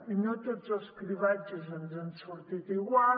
i no tots els cribratges ens han sortit igual